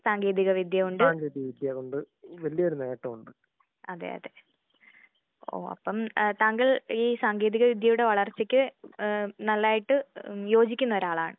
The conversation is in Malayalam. സാങ്കേതിക വിദ്യ കൊണ്ട് അതേ അതേ. ഓ അപ്പം ഈ സാങ്കേതിക വിദ്യയുടെ വളർച്ചക്ക് ഏഹ് നന്നായിട്ട് യോജിക്കുന്ന ഒരാളാണ്.